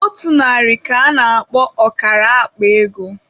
Otu narị ka-ana akpo ọkara akpa ego.